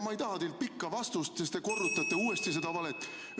Ma ei taha teilt pikka vastust, sest siis te korrutate sedasama valet uuesti.